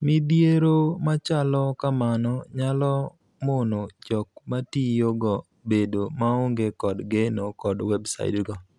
Midhiero machalo kamano nyalo mono jok matiyogo bedo maonge kod geno kod websaits go.